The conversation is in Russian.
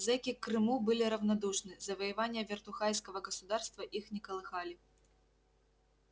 зэки к крыму были равнодушны завоевания вертухайского государства их не колыхали